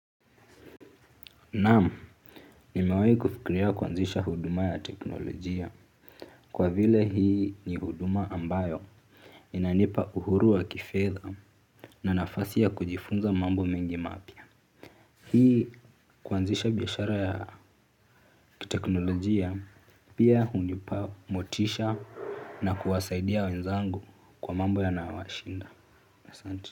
Naam, nimewahi kufikiria kuanzisha huduma ya teknolojia kwa vile hii ni huduma ambayo inanipa uhuru wa kifedha na nafasi ya kujifunza mambo mengi mapya. Hii kuanzisha biashara ya kiteknolojia pia hunipa motisha na kuwasaidia wenzangu kwa mambo yanayowashinda.